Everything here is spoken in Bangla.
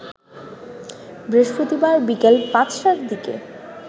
বৃহস্পতিবার বিকেল ৫টার দিকে